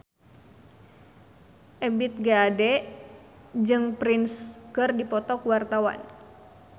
Ebith G. Ade jeung Prince keur dipoto ku wartawan